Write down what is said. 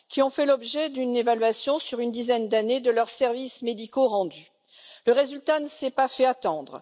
Ceux ci ont fait l'objet d'une évaluation portant sur une dizaine d'années de services médicaux rendus, et le résultat ne s'est pas fait attendre!